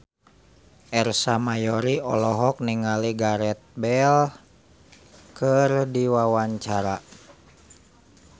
Ersa Mayori olohok ningali Gareth Bale keur diwawancara